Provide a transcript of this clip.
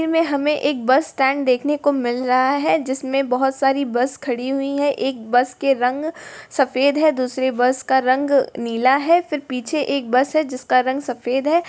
फिर में हमें एक बस स्टैंड देखने को मिल रहा है जिसमे बहुत सारी बस खड़ी हुई है एक बस के रंग सफ़ेद है दूसरे बस का रंग नीला है फिर पीछे एक बस है जिसका रंग सफ़ेद है।